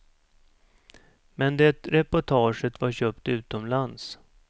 Men det reportaget var köpt utomlands.